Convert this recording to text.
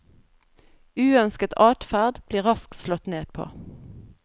Uønsket adferd blir raskt slått ned på.